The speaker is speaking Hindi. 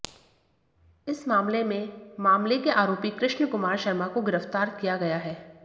इस मामले में मामले के आरोपी कृष्ण कुमार शर्मा को गिरफ्तार किया गया है